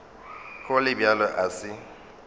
go le bjalo a se